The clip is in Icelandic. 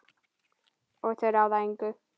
Og þau ráða engu.